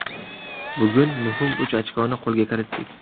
Bugun muhim uch ochkoni qo‘lga kiritdik.